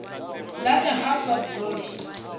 la the house of gold